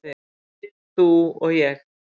"""Við, þú og ég."""